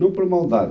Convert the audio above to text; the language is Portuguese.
Não por maldade.